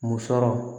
Musɔrɔ